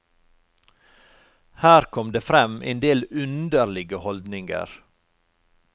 Her kom det frem endel underlige holdninger.